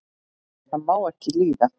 það má ekki líða